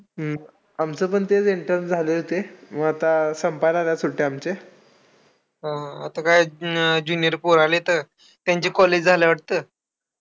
हम्म आमचं पण तेच enterns झाले होते. मग आता संपायला आल्यात सुट्ट्या आमचे. अं आता काय ज junior पोरं आलेतं. त्यांचे college झालेत वाटतं.